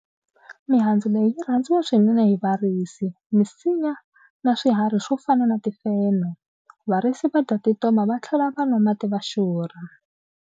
Mihandzu leyi yi rhandziwa swinene hi varisi, misinya na swiharhi swo fana na timfenhe. Varisi va dya tintoma va tlhela va nwa mati va xurha.